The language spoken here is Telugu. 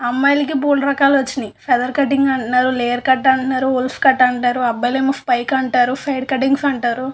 అమ్మాయికి బోలెడు రకాలు వచ్చినాయి ఫెదర్ కట్టింగ్ అంటున్నారు లేయర్ కట్ అంటున్నారు ఉల్ఫ్ కట్ అంటారు అబ్బాయిలు ఏమో స్పైక్ అంటారు సైడ్ కటింగ్స్ అంటారు --